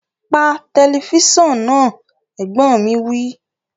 Pa tẹlifísàn náà! Ẹ̀gbọ́n mi wí